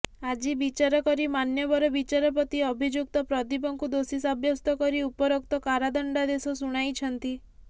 ଆଜି ବିଚାର କରି ମାନ୍ୟବର ବିଚାରପତି ଅଭିଯୁକ୍ତ ପ୍ରଦୀପକୁ ଦୋଷୀ ସାବ୍ୟସ୍ତ କରି ଉପରୋକ୍ତ କାରାଦଣ୍ଡାଦେଶ ଶୁଣାଇଛନ୍ତି